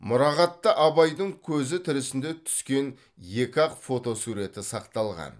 мұрағатта абайдың көзі тірісінде түскен екі ақ фотосуреті сақталған